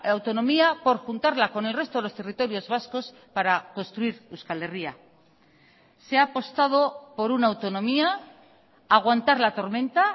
autonomía por juntarla con el resto de los territorios vascos para construir euskal herria se ha apostado por una autonomía aguantar la tormenta